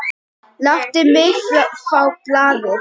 Láttu mig fá blaðið!